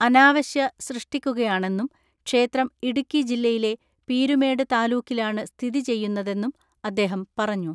അനാവശ്യ സൃഷ്ടിക്കുകയാണെന്നും, ക്ഷേത്രം ഇടുക്കി ജില്ലയിലെ പീരുമേട് താലൂക്കിലാണ് സ്ഥിതി ചെയ്യുന്നതെന്നും അദ്ദേഹം പറഞ്ഞു.